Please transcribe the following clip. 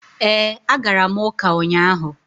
Ee, agara m ụka ụnyahụ.